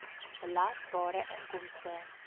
belasbare inkomste